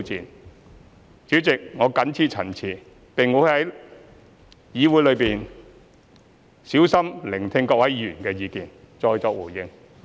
代理主席，我謹此陳辭，並會在議會內小心聆聽各位議員的意見後，再作回應。